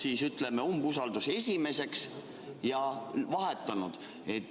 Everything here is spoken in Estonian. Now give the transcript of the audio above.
Mis asjaoludel on umbusaldus tõusnud esimeseks?